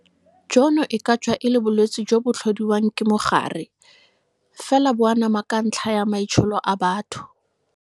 Jono e ka tswa e le bolwetse jo bo tlhodiwang ke mogare, fela bo anama ka ntlha ya maitsholo a batho.